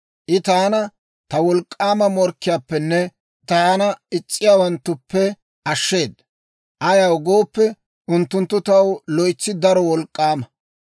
I taana ta wolk'k'aama morkkiyaappenne, taana is's'iyaawanttuppe ashsheeda. Ayaw gooppe, unttunttu taw loytsi daro wolk'k'aama.